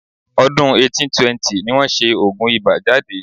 Ọdún 1820 ni wọ́n ṣẹ oògùn ibà jáde..